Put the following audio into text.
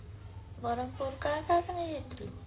ବ୍ରହ୍ମପୁର କାହା କାହା ସଂଗେ ଯାଇଥିଲୁ